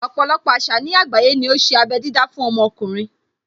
Ọpọ̀lọpọ̀ àṣà ní àgbáyé ní ó ṣe abé dídá fún ọmọkùnrin.